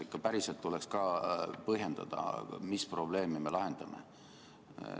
Ikka päriselt tuleks ka põhjendada, mis probleemi me lahendame.